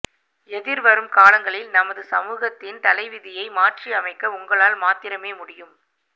எதிர்வரும் காலங்களில் எமது சமூகத்தின் தலைவிதியை மாற்றியமைக்க உங்களால் மாத்திரமே முடியும்